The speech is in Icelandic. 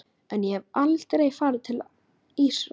En ég hef aldrei farið til Ísraels.